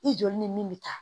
I joli ni min bɛ taa